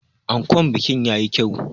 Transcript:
Ankon bikin ya yi kyau.